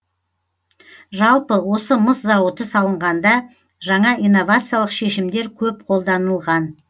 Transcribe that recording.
жалпы осы мыс зауыты салынғанда жаңа инновациялық шешімдер көп қолданылған